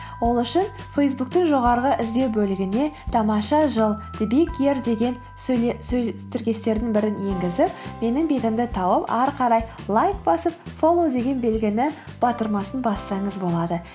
ол үшін фейсбуктың жоғарғы іздеу бөлігіне тамаша жыл деген сөз тіркестерінің бірін енгізіп менің бетімді тауып ары қарай лайк басып фоллоу деген белгінің батырмасын бассаңыз болады